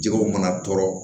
Jɛgɛw mana tɔɔrɔ